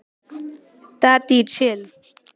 Spurt réttu spurninganna á réttum tíma.